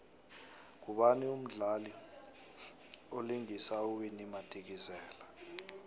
ngubani umdlali vlingisa uwinnie madikizela